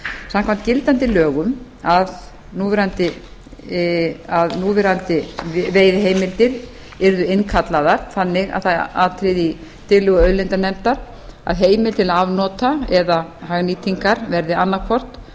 samkvæmt gildandi lögum að núverandi veiðiheimildir yrðu innkallaðar þannig að það atriði í tillögu auðlindanefndar að heimild til afnota eða hagnýtingar verði annaðhvort